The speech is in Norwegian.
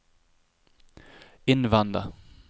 innvende